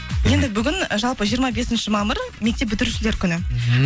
енді бүгін і жалпы жиырма бесінші мамыр мектеп бітірушілер күні мхм